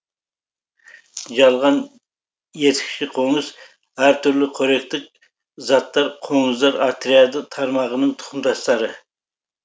жалған етікші қоңыз әртүрлі қоректік заттар қоңыздар отряды тармағының тұқымдастары